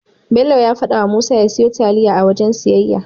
Bello ya fadawa Musa ya siyo taliya a wajen siyayya.